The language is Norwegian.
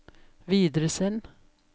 videresend